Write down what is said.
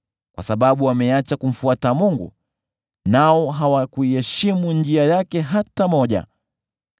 kwa sababu wameacha kumfuata Mungu, nao hawakuiheshimu njia yake hata moja.